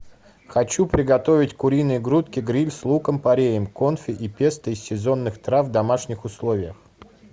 хочу приготовить куриные грудки гриль с луком пореем конфи и песто из сезонных трав в домашних условиях